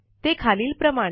ते खालीलप्रमाणे